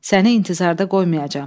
Səni intizarda qoymayacam.